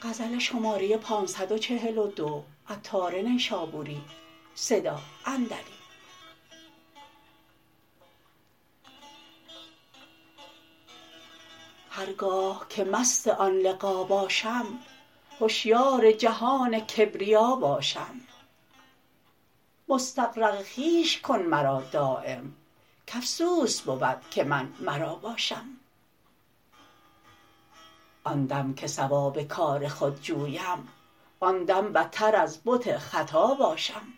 هرگاه که مست آن لقا باشم هشیار جهان کبریا باشم مستغرق خویش کن مرا دایم کافسوس بود که من مرا باشم کان دم که صواب کار خود جویم آن دم بتر از بت خطا باشم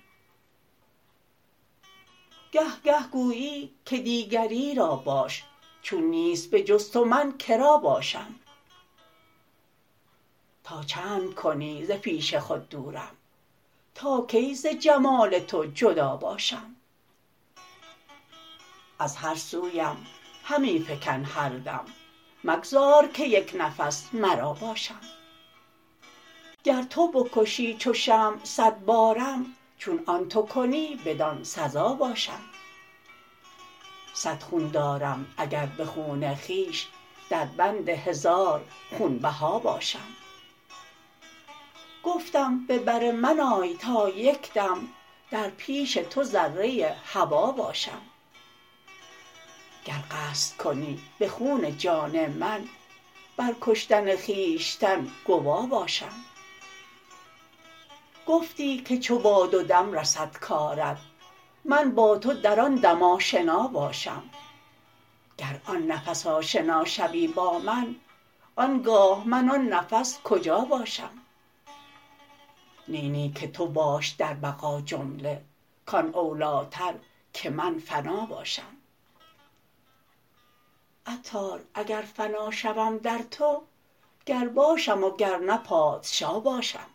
گه گه گویی که دیگری را باش چون نیست به جز تو من که را باشم تا چند کنی ز پیش خود دورم تا کی ز جمال تو جدا باشم از هر سویم همی فکن هر دم مگذار که یک نفس مرا باشم گر تو بکشی چو شمع صد بارم چون آن تو کنی بدان سزا باشم صد خون دارم اگر به خون خویش در بند هزار خون بها باشم گفتم به بر من آی تا یکدم در پیش تو ذره هوا باشم گر قصد کنی به خون جان من بر کشتن خویشتن گوا باشم گفتی که چو باد و دم رسد کارت من با تو در آن دم آشنا باشم گر آن نفس آشنا شوی با من آنگاه من آن نفس کجا باشم نی نی که تو باش در بقا جمله کان اولیتر که من فنا باشم عطار اگر فنا شوم در تو گر باشم و گر نه پادشا باشم